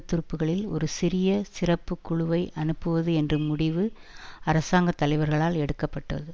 துருப்புக்களில் ஒரு சிறிய சிறப்புக்குழுவை அனுப்புவது என்ற முடிவு அரசாங்க தலைவர்களால் எடுக்க பட்டது